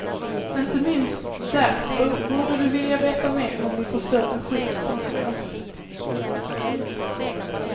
Inte minst därför borde du vilja veta mer om din förstörda skylt, tänker jag.